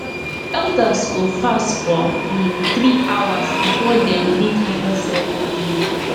elders go fast for um three hours before dem lead harvest ceremony